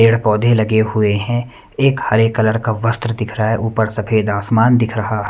पेड़ पौधे लगे हुए हैं एक हरे कलर का वस्त्र दिख रहा है ऊपर सफेद आसमान दिख रहा ।